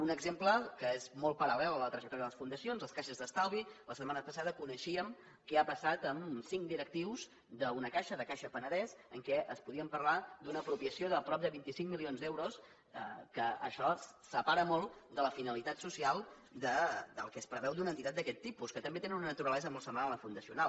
un exemple que és molt paral·lel a la trajectòria de les fundacions les caixes d’estalvi la setmana passada coneixíem què ha passat amb cinc directius d’una caixa de caixa penedès en què es podia parlar d’una apropiació de prop de vint cinc milions d’euros que això separa molt de la finalitat social del que es preveu d’una entitat d’aquest tipus que també tenen una naturalesa molt semblant a la fundacional